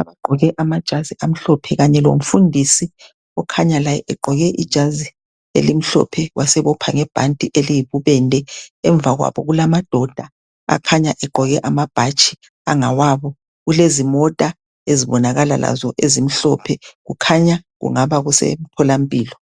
abagqoke amajazi amhlophe kanye lomfundisi okhanya laye egqoke ijazi elimhlophe, wasebopha ngebhanti eliyibubende. Emva kwabo kulamadoda akhanya egqoke amabhatshi angawabo, kulezimota ezibonakala lazo ezimhlophe. Kukhanya kungaba kusemtholwampilo.